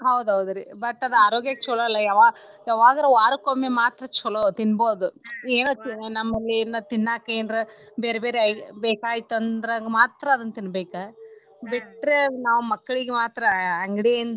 ಹೌದ ಹೌದ್ರಿ but ಅದ ಆರೋಗ್ಯಕ್ಕ ಚೊಲೋ ಅಲ್ಲ ಯಾವಾ~ ಯಾವಾಗಾರ ವಾರಕೊಮ್ಮೆ ಮಾತ್ರ ತಿನ್ನಬೋದ ಏನೋ ನಮ್ಮಲ್ಲಿ ಏನೋ ತಿನ್ನಾಕ ಎನ್ರಾ ಬೇರ್ಬೇರೆ ಬೇಕಾತ ಅಂದ್ರ ಮಾತ್ರ ಅದ್ನ ತಿನ್ಬೇಕ ಬಿಟ್ರೆ ನಾವ ಮಕ್ಕಳೀಗ ಮಾತ್ರ ಅಂಗಡಿಯಿಂದ.